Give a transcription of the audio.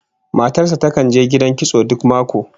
Matar sa takan je gidan kitso duk mako